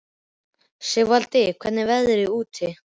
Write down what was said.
Sigurvaldi, hvernig er veðrið úti?